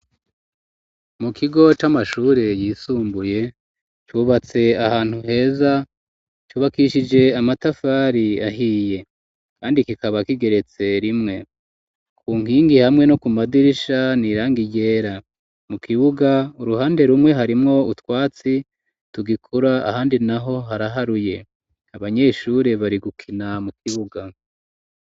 Mu kigo c'amashure yisumbuye, cubatse ahantu heza, cubakishije amatafari ahiye. Kandi kikaba kigeretse rimwe. Ku nkingi hamwe no ku madirisha ni irangi ryera. Mu kibuga uruhande rumwe. Harimwo utwatsi tugikura, ahandi naho haraharuye. Abanyeshure bari gukina mu kibuga.